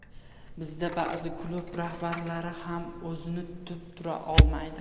Bizda ba’zi klub rahbarlari ham o‘zini tutib tura olmaydi.